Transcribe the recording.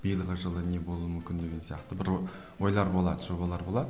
биылғы жылы не болуы мүмкін деген сияқты бір ы ойлар болады жобалар болады